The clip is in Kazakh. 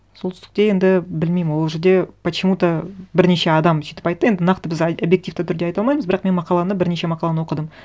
солтүстікте енді білмеймін ол жерде почему то бірнеше адам сөйтіп айтты енді нақты біз объективті түрде айта алмаймыз бірақ мен мақаланы бірнеше мақаланы оқыдым